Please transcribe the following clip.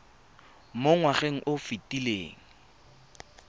mo ngwageng o o fetileng